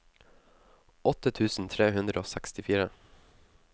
åtte tusen tre hundre og sekstifire